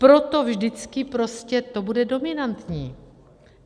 Proto vždycky prostě to bude dominantní.